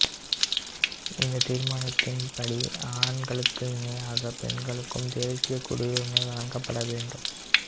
இந்த தீர்மானத்தின் படி ஆண்களுக்கு இணையாக பெண்களுக்கும் தேசியக் குடியுரிமை வழங்கப்பட வேண்டும்